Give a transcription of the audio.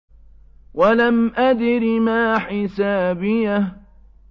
وَلَمْ أَدْرِ مَا حِسَابِيَهْ